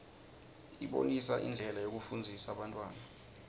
ibonisa indlela yekufundzisa bantfwana